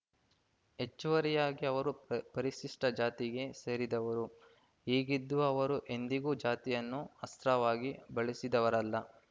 ಹೆಚ್ಚುವರಿಯಾಗಿ ಅವರು ಪ ಪರಿಶಿಷ್ಟಜಾತಿಗೆ ಸೇರಿದವರು ಹೀಗಿದ್ದೂ ಅವರು ಎಂದಿಗೂ ಜಾತಿಯನ್ನು ಅಸ್ತ್ರವಾಗಿ ಬಳಸಿದವರಲ್ಲ